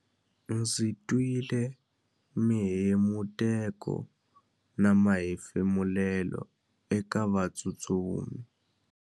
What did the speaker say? Ndzi twile mihemuteko na mahefumulelo eka vatsutsumi.